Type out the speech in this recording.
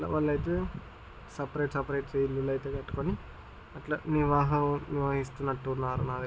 Separate separate ఇల్లులైతే కట్టుకొని అట్లా నివాహం నిర్వహిస్తున్నట్టున్నారు. నాకు --